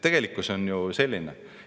Tegelikkus on ju selline.